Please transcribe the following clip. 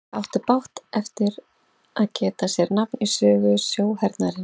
Það átti brátt eftir að geta sér nafn í sögu sjóhernaðarins.